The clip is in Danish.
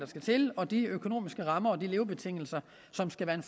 skal til og de økonomiske rammer og de levebetingelser som skal være en